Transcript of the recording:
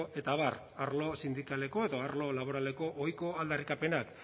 eta abar arlo sindikaleko edo arlo laboraleko ohiko aldarrikapenak